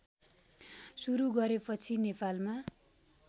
सुरू गरेपछि नेपालमा